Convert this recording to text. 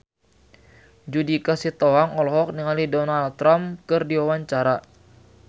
Judika Sitohang olohok ningali Donald Trump keur diwawancara